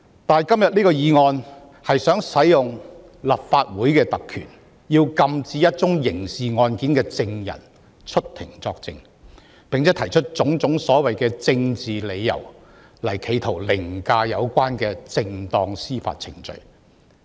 但是，今天這項議案企圖行使立法會特權，禁止一宗刑事案件的證人出庭作證，並且提出種種所謂政治理由，企圖凌駕正當的司法程序。